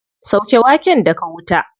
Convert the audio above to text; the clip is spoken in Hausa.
Sauke waken daga wuta.